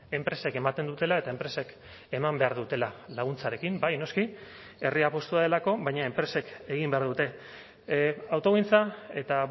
enpresek ematen dutela eta enpresek eman behar dutela laguntzarekin bai noski herria apustua delako baina enpresek egin behar dute autogintza eta